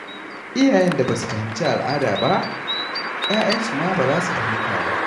Iyayen da ba su fahimci al'ada ba, 'ya'yansu ma ba za su fahimta ba.